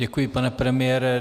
Děkuji, pane premiére.